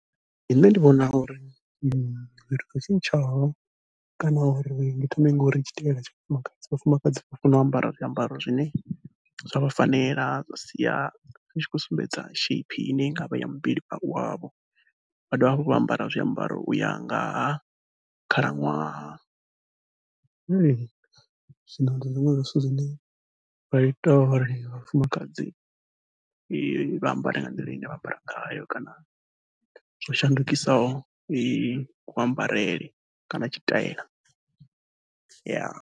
Nṋe ndi vhona uri fhethu ho tshetshaho kana uri ndi thome ngori tshitaela tsha vhafumakadzi, vhafumakadzi vha fanela u ambara zwiambaro zwine zwa vha fanela zwa sia hu tshi khou sumbedza shape ine i nga vha ya muvhili wavho, vha dovha hafhu vha ambara zwiambaro uya ngaha khalaṅwaha. Zwino ndi zwiṅwe zwa zwithu zwine zwa ita uri vhafumakadzi vha ambare nga nḓila ine vha ambara ngayo kana zwo shandukisaho kuambarele kana tshitaela .